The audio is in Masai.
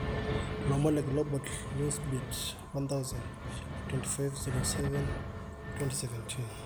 Lomon le Global Newsbeat 1000 25/07/2017.